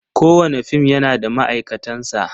Kowane fim yana da ma'aikatansa.